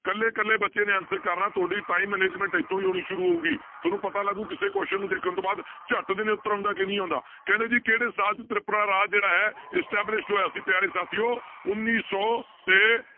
ਇਕੱਲੇ ਇਕੱਲੇ ਬੱਚੇ ਨੇ answer ਕਰਨਾ ਤੁਹਾਡੀ time management ਇੱਥੋਂ ਹੀ ਹੋਣੀ ਸ਼ੁਰੂ ਹੋਊਗੀ, ਤੁਹਾਨੂੰ ਪਤਾ ਲੱਗੂ ਕਿਸੇ question ਨੂੰ ਦੇਖਣ ਤੋਂ ਬਾਅਦ ਝੱਟ ਦੇਣੇ ਉੱਤਰ ਆਉਂਦਾ ਕਿ ਨਹੀਂ ਆਉਂਦਾ, ਕਹਿੰਦੇ ਜੀ ਕਿਹੜੇ ਸਾਲ 'ਚ ਤ੍ਰਿਪੁਰਾ ਰਾਜ ਜਿਹੜਾ ਹੈ established ਹੋਇਆ ਸੀ ਪਿਆਰੇ ਸਾਥੀਓ ਉੱਨੀ ਸੌ ਤੇ